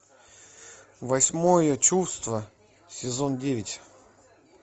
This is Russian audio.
восьмое чувство сезон девять